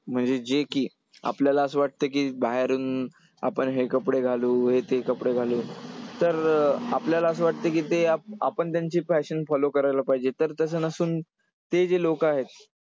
म्हणजे जे की आपल्याला असं वाटतं की बाहेरून आपण हे कपडे घालू हे ते कपडे घालू . तर अं आपल्याला असं वाटतंय की ते आपण त्यांची fashion follow करायला पाहिजे तर तसं नसून ती जी लोकं आहेत,